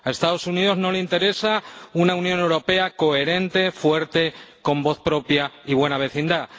A Estados Unidos no le interesa una Unión Europea coherente, fuerte, con voz propia y buena vecindad.